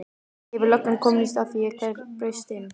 Hefur löggan komist að því hver braust inn?